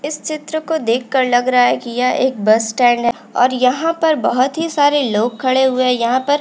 इस चित्र को देख कर लग रहा है कि यह एक बस स्टैंड है और यहाँ पर बहोत ही सारे लोग खड़े हुऐ हैं। यहाँ पर --